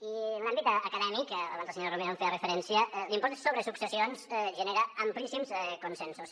i en l’àmbit acadèmic abans la senyora romero hi feia referència l’impost sobre successions genera amplíssims consensos